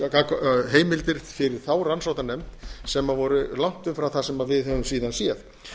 opna heimildir fyrir þá rannsóknarnefnd sem voru langt umfram það sem við höfum síðan séð